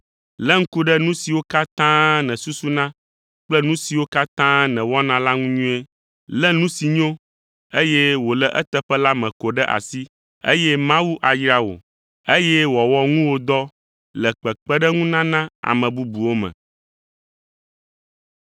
Lé ŋku ɖe nu siwo katã nèsusuna kple nu siwo katã nèwɔna la ŋuti nyuie. Lé nu si nyo, eye wòle eteƒe la me ko ɖe asi, eye Mawu ayra wò, eye wòawɔ ŋuwòdɔ le kpekpeɖeŋunana ame bubuwo me.